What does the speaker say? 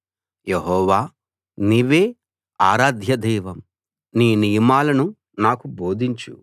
యెహోవా నీవే ఆరాధ్య దైవం నీ నియమాలను నాకు బోధించు